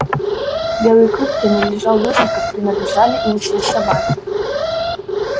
белый клык принадлежал людям как принадлежали им все собаки